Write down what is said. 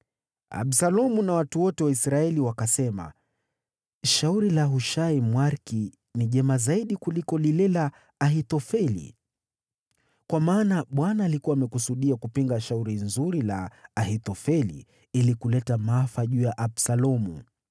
Absalomu na watu wote wa Israeli wakasema, “Shauri la Hushai, Mwariki, ni jema zaidi kuliko lile la Ahithofeli.” Kwa maana Bwana alikuwa amekusudia kupinga shauri nzuri la Ahithofeli, ili kuleta maafa juu ya Absalomu.